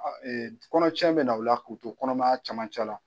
Kɔnɔcɛn bɛ na o la k'u to kɔnɔmaya cɛmancɛ la